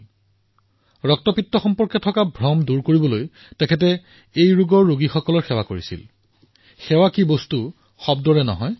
ৰক্তপিত্ত সন্দৰ্ভত কিমান ভুল ধাৰণাৰ সৃষ্টি হৈছিল সেই ভ্ৰমসমূহ নোহোৱা কৰাৰ বাবে ৰক্তপিত্তগ্ৰস্ত লোকসকলক স্বয়ং তেওঁ সেৱা প্ৰদান কৰিছিল আৰু নিজৰ জীৱনত সেৱাৰ মাধ্যমেৰে উদাহৰণৰ সৃষ্টি কৰিছিল